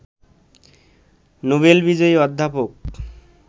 Nobel বিজয়ী অধ্যাপক